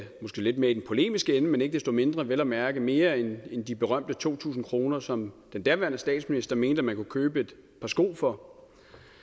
måske lidt mere i den polemiske ende men ikke desto mindre vel at mærke mere end de berømte to tusind kr som den daværende statsminister mente at man kunne købe et par sko for